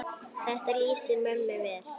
Þetta lýsir mömmu vel.